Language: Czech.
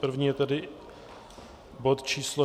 První je tedy bod číslo